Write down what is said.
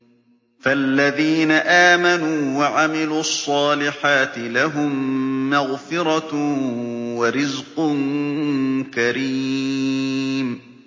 فَالَّذِينَ آمَنُوا وَعَمِلُوا الصَّالِحَاتِ لَهُم مَّغْفِرَةٌ وَرِزْقٌ كَرِيمٌ